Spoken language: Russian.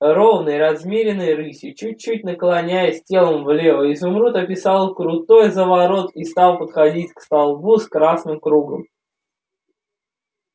ровной размеренной рысью чуть-чуть наклоняясь телом влево изумруд описал крутой заворот и стал подходить к столбу с красным кругом